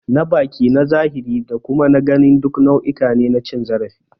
Na baki, na zahiri da kuma na gani duk nau'uka ne na cin zarafi.